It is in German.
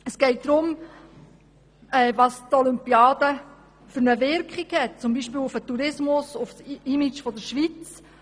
Es geht auch um die Wirkung der Olympiade, beispielsweise auf den Tourismus und auf das Image der Schweiz.